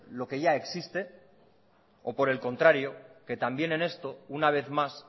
lo que ya existe o por el contrario que también en esto una vez más